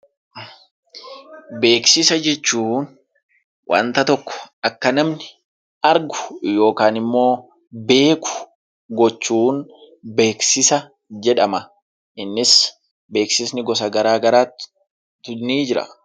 Beeksisa jechuun wanta tokko kan namni argu yookiin immoo beeku gochuun beeksisa jedhama. Innis beeksisa gosa garaa garaatu jira.